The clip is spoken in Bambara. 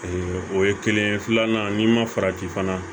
o ye kelen ye filanan n'i ma farati fana